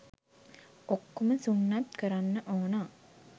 ඔක්කොම සුන්නත් කරන්න ඕන